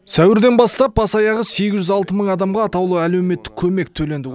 сәуірден бастап бас аяғы сегіз жүз алты мың адамға атаулы әлеуметтік көмек төленді